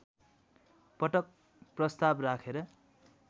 पटक प्रस्ताव राखेर